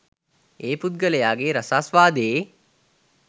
ඒ පුද්ගලයගේ රසාස්වාදයේ